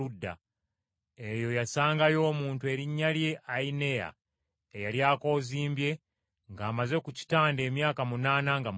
Eyo yasangayo omuntu erinnya lye Ayineya eyali akoozimbye ng’amaze ku kitanda emyaka munaana nga mulwadde.